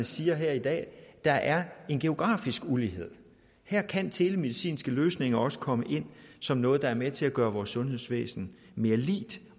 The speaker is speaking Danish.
siger her i dag der er en geografisk ulighed her kan telemedicinske løsninger også komme ind som noget der er med til at gøre vores sundhedsvæsen mere lige